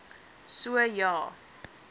so ja a